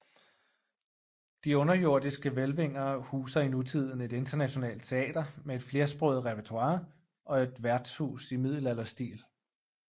De underjordiske hvælvinger huser i nutiden et internationalt teater med et flersproget repertoire og et værtshus i middelalderstil